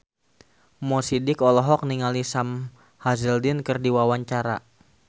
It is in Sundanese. Mo Sidik olohok ningali Sam Hazeldine keur diwawancara